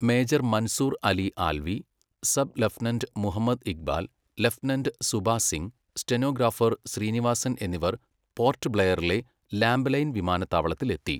Major Mansoor Ali Alvi, sub lieutenant Muhammad Iqbal, lieutenant Suba Singh, stenographer Srinivasan എന്നിവർ Port ബ്ലെയറിലെ ലാംബലൈൻ വിമാനത്താവളത്തിൽ എത്തി.